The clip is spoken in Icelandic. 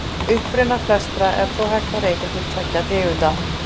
Uppruna flestra er þó hægt að rekja til tveggja tegunda.